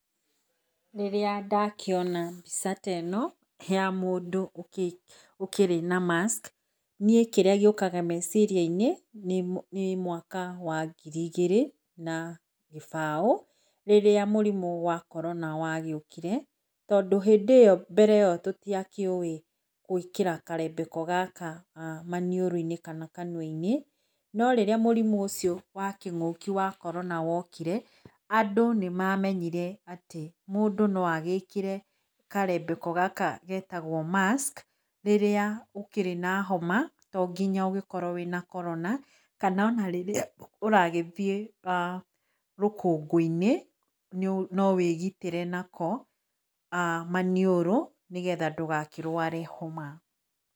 Rĩrĩa ndakĩona mbica ta ĩno ya mũndũ ũkĩrĩ na mask, niĩ kĩrĩa gĩũkaga meciria-inĩ nĩ mwaka wa ngiri igĩrĩ na gĩbao rĩrĩa mũrimũ wa Corona wagĩukire. Tondũ hĩndĩ ĩyo mbere ĩyo tũtiakĩũwĩ gwĩkĩra karembeko gaka maniũrũ-inĩ kana kanua-inĩ. No rĩrĩa mũrimũ ũcio wa kĩng'ũki wa Corona wokire, andũ nĩ mamenyire atĩ mũndũ no agĩkĩre karembeko gaka getagwo mask, rĩrĩa ũkĩrĩ na homa, to nginya ũgĩkorwo wĩ na Corona, kana ona rĩrĩa ũragĩthiĩ rũkũngũ-inĩ no wĩgitĩre nako maniũrũ, nĩgetha ndũgakĩrware homa.